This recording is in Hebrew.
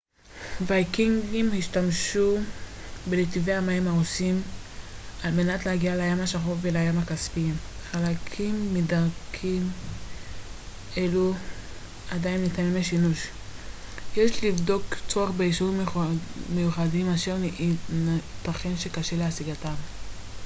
ויקינגים השתמשו בנתיבי המים הרוסים על-מנת להגיע לים השחור ולים הכספי חלקים מדרכים אלו עדיין ניתנים לשימוש יש לבדוק צורך באישורים מיוחדים אשר ייתכן שקשה להשיגם